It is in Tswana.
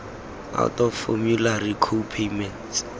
out of formulary co payments